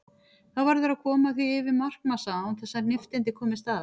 Þá verður að koma því yfir markmassa án þess að nifteindir komist að.